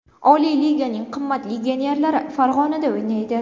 Oliy liganing qimmat legionerlari Farg‘onada o‘ynaydi.